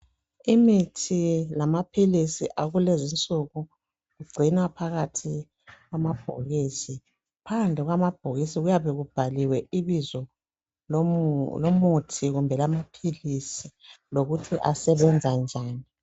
Imithi lamaphilisi akulezinsuku kugcinwa phakathi kwamabhokisi phandle kwamabhokisi kuyabe kubhaliwe ibizo lomuthi kumbe lamaphilisi lokuthi asebenza njani